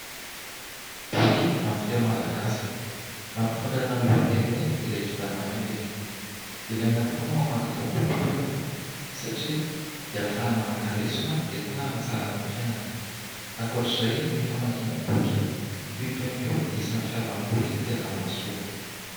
Boky amin'ny teny malagasy ; nampitondraina ny lohateny hoe "ilay kintana mainty". Ilaina tokoa ny mamaky itony boky itony satria dia ahafahana maka lesona etina hanatsarana ny fiainana ; ankoatra izay ny famakina boky toy itony koa dia isan'ny fialamboly tena mahasoa.